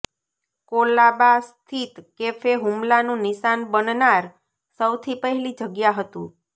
કોલાબા સ્થિત કેફે હુમલાનું નિશાન બનનાર સૌથી પહેલી જગ્યા હતુ